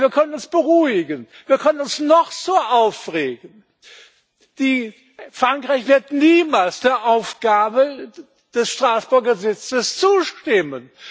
Aber wir können uns beruhigen Wir können uns noch so aufregen, Frankreich wird niemals der Aufgabe des Straßburger Sitzes zustimmen!